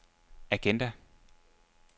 agenda